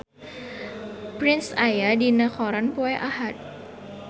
Prince aya dina koran poe Ahad